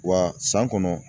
Wa san kɔnɔ